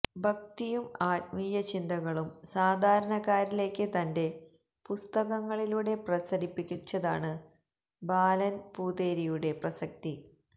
ഭക്തിയും ആത്മീയചിന്തകളും സാധാരണക്കാരിലേക്ക് തന്റെ പുസ്തകങ്ങളിലൂടെ പ്രസരിപ്പിച്ചതാണ് ബാലന് പൂതേരിയുടെ പ്രസക്തി